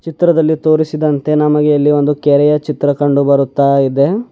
ಚಿತ್ರದಲ್ಲಿ ತೋರಿಸಿದಂತೆ ನಮಗೆ ಇಲ್ಲಿ ಒಂದು ಕೆರೆಯ ಚಿತ್ರ ಕಂಡು ಬರುತ್ತಾ ಇದೆ.